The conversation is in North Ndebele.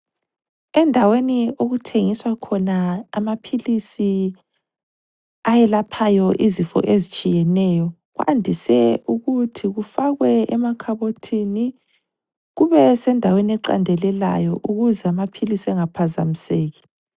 Endaweni okuthengiswa khona amaphilisi ayelaphayo izifo ezitshiyeneyo kwandise ukuthi kufakwe emakhabothini kube sendaweni eqandelelayo ukuze amaphilisi engaphazamiseki.